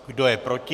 Kdo je proti?